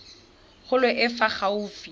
kgolo e e fa gaufi